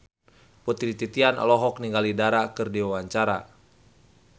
Putri Titian olohok ningali Dara keur diwawancara